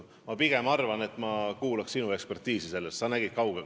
Ma pigem kuulaks sinu ekspertiisihinnangut selles küsimuses.